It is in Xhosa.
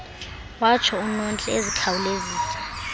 watsho unontle ezikhawulezisa